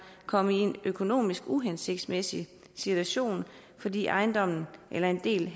komme i en økonomisk uhensigtsmæssig situation fordi ejendommen eller en del